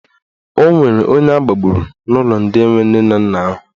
Ọ nwere onye agbagburu n'ụlọ ndị enwe nne na nna ahụ.